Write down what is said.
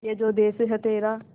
ये जो देस है तेरा